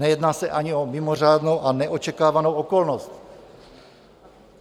Nejedná se ani o mimořádnou a neočekávanou okolnost.